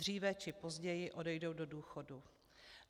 Dříve či později odejdou do důchodu.